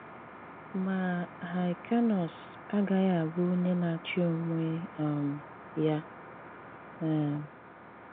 Mà Hyr̀cànus agaghị̀ abụ onye na-àchì onwè um ya. um